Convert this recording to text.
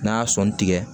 N'a y'a sɔnni tigɛ